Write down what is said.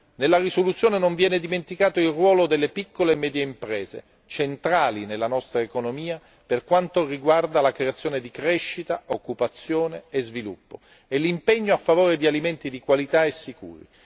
Nella risoluzione non viene dimenticato il ruolo delle piccole e medie imprese, centrali nella nostra economia per quanto riguarda la creazione di crescita, occupazione e sviluppo, e l'impegno a favore di alimenti di qualità e sicuri.